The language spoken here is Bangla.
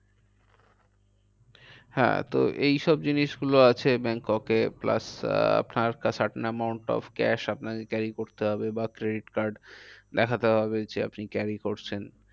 হ্যাঁ তো এই সব জিনিস গুলো আছে ব্যাংককে plus uh amount of cash আপনাকে carry করতে হবে। বা credit card দেখতে হবে আপনি carry করছেন।